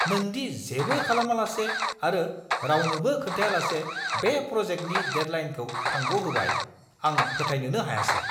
नों दि जेबो खालामालासे आरो रावनोबो खोन्थायालासे बे प्र'जेक्टनि डेडलाइनखौ थांग'होबाय, आं फोथायनोनो हायासै!